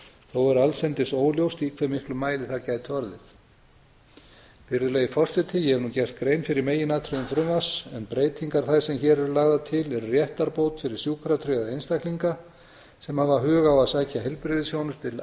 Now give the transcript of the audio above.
þó er allsendis óljóst í hve miklum mæli það gæti orðið virðulegi forseti ég hef nú gert grein fyrir meginatriðum frumvarps en breytingar þær sem hér eru lagðar til eru réttarbót fyrir sjúkratryggða einstaklinga sem hafa hug á að sækja heilbrigðisþjónustu til